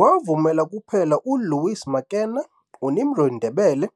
Wavumela kuphela ULouis Makenna, UNimrod Ndebele,